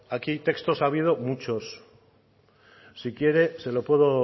aquí textos ha habido muchos si quiere se lo puedo